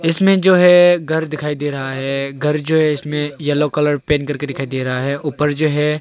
इसमें जो है घर दिखाई दे रहा है घर जो है इसमे येलो कलर पेंट करके दिखाई दे रहा है ऊपर जो है।